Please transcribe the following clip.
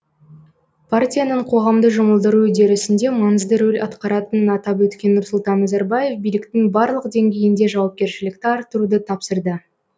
партияның қоғамды жұмылдыру үдерісінде маңызды рөл атқаратынын атап өткен нұрсұлтан назарбаев биліктің барлық деңгейінде жауапкершілікті арттыруды тапсырды